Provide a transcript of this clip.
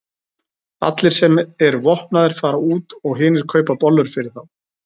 Allir sem eru vopnaðir fara út og hinir kaupa bollur fyrir þá.